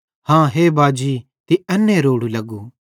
हाँ हे बाजी तीं एन्ने रोड़ू लग्गू